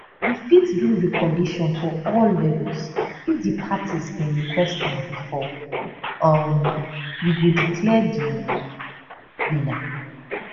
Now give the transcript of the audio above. we fit do recollation for all levels if di parties bin request am bifor um we go declare di winner